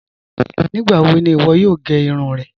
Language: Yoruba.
Nígbàwò ní iwọ́ yòò gẹ́ irun rẹ́?